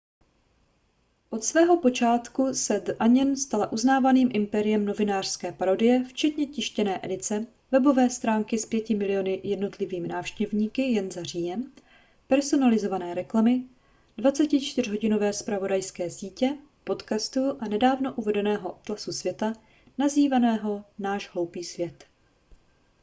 od svého počátku se the onion stala uznávaným impériem novinářské parodie včetně tištěné edice webové stránky s 5 000 000 jednotlivými návštěvníky jen za říjen personalizované reklamy 24hodinové zpravodajské sítě podcastů a nedávno uvedeného atlasu světa nazvaného náš hloupý svět